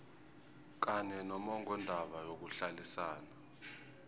kanye nommongondaba yokuhlalisana